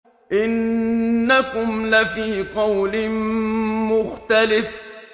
إِنَّكُمْ لَفِي قَوْلٍ مُّخْتَلِفٍ